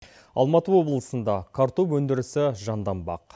алматы облысында картоп өндірісі жанданбақ